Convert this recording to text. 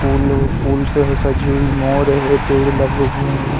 फूल लो फूल से वो सजी हुई मोर है पेड़ लगे हुए है।